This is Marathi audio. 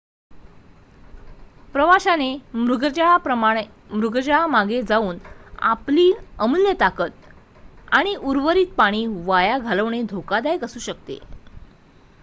प्रवाशाने मृगजळामागे जाऊन आपली अमूल्य ताकद आणि उर्वरित पाणी वाया घालवणे धोकादायक असू शकते